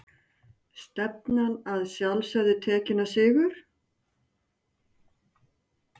Stefnan að sjálfsögðu tekinn á sigur?